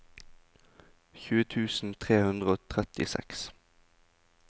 tjue tusen tre hundre og trettiseks